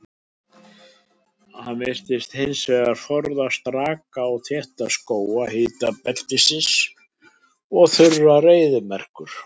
Hann virðist hins vegar forðast raka og þétta skóga hitabeltisins og þurrar eyðimerkur.